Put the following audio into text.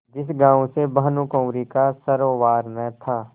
जिस गॉँव से भानुकुँवरि का सरोवार न था